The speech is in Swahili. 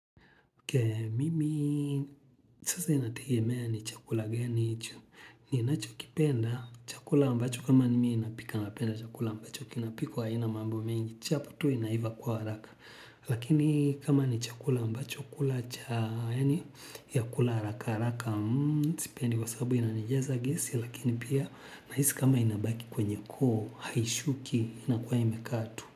Okay, mimi sasa inategemea ni chakula gani hicho. Ninachokipenda, chakula ambacho kama nimi napika napenda chakula ambacho kinapikwa aina mambo mingi. Chapu tu inaiva kwa haraka. Lakini kama ni chakula ambacho kula cha, yani ya kula haraka haraka. Sipendi kwa sababu yananijaza gesi, lakini pia nahisi kama inabaki kwenye koo, haishuki, inakuwa imekaa tu.